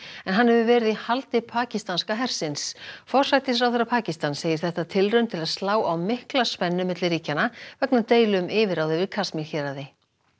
en hann hefur verið í haldi pakistanska hersins forsætisráðherra Pakistans segir þetta tilraun til að slá á mikla spennu milli ríkjanna vegna deilu um yfirráð yfir Kasmír héraði